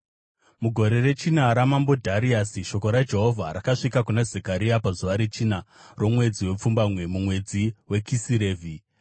Mugore rechina raMambo Dhariasi, shoko raJehovha rakasvika kuna Zekaria pazuva rechina romwedzi wepfumbamwe, mumwedzi weKisirevhi.